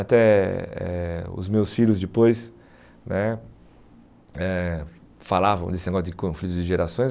Até eh os meus filhos depois né eh falavam desse negócio de conflitos de gerações.